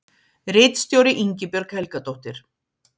Ritstjóri Ingibjörg Helgadóttir.